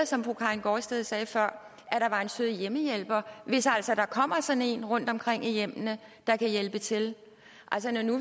som fru karin gaardsted sagde før er en sød hjemmehjælper hvis altså der kommer sådan en rundtomkring i hjemmene der kan hjælpe til altså når nu